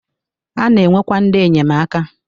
A na-enwekwa ndị enyemaka.